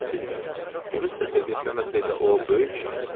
Başıcası isə, bunu istəsə də, istəməsə də o böyük şairdir.